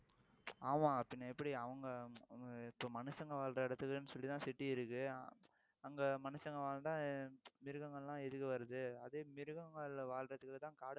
ஆமா பின்ன எப்படி அவங்க அஹ் இப்ப மனுஷங்க வாழுற இடத்துக்குன்னு சொல்லிதான் city இருக்கு அங்க மனுஷங்க வாழ்ந்தா மிருகங்கள்லாம் எதுக்கு வருது அதே மிருகங்கள்ல வாழ்றதுக்குத்தான் காடை